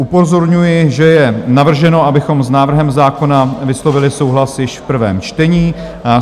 Upozorňuji, že je navrženo, abychom s návrhem zákona vyslovili souhlas již v prvém čtení.